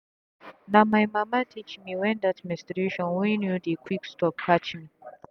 na my mama teach mewhen that menstration wey dey quick stop catch me.